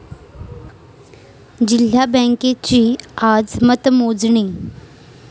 जिल्हा बँकेची आज मतमोजणी